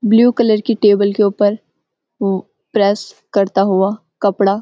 blue colour की table के ऊपर प्रेस करता हुआ कपड़ा --